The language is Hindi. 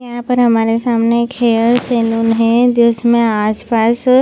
यहाँ पर हमारे सामने हेयर सैलून है जिसने आसपास--